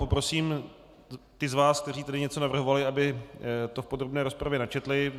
Poprosím ty z vás, kteří tady něco navrhovali, aby to v podrobné rozpravě načetli.